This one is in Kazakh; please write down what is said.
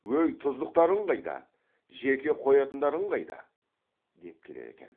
өй тұздықтарың қайда жеке қоятындарың қайда деп келеді екен